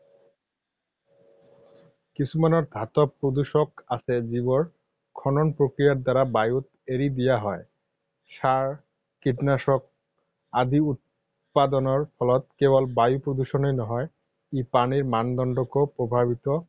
কিছুমান ধাতৱ প্ৰদূষক আছে যিবোৰ খনন প্ৰক্ৰিয়াৰ দ্বাৰা বায়ুত এৰি দিয়া হয়। সাৰ, কীটনাশক আদি উৎপাদনৰ ফলত কেৱল বায়ু প্ৰদূষণেই নহয়, ই পানীৰ মানদণ্ডকো প্ৰভাৱিত